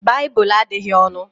Baịbụl adịghị ọnụ